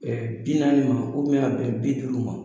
Ɛɛ bi naani ma a bɛn b duuru man.